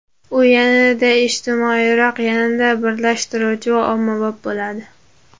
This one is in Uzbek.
U yanada ijtimoiyroq, yanada birlashtiruvchi va ommabop bo‘ladi.